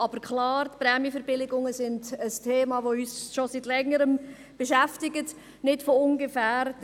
Aber klar: Die Prämienverbilligungen sind ein Thema, das uns schon seit Längerem beschäftigt – nicht von ungefähr.